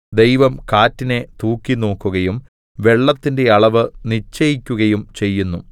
ദൈവം കാറ്റിനെ തൂക്കിനോക്കുകയും വെള്ളത്തിന്റെ അളവ് നിശ്ചയിക്കുകയും ചെയ്യുന്നു